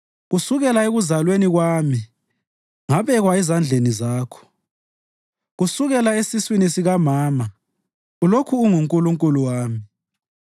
Kusukela ekuzalweni kwami ngabekwa ezandleni Zakho; kusukela esiswini sikamama ulokhu unguNkulunkulu wami.